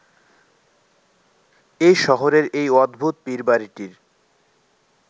এই শহরের এই অদ্ভুত পীরবাড়িটির